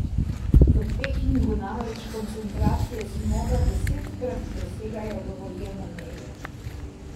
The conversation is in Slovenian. V Pekingu namreč koncentracije smoga desetkrat presegajo dovoljene meje.